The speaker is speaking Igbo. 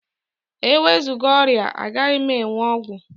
E wezụga ọrịa, a gaghị enwe ọgwụ